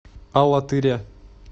алатыря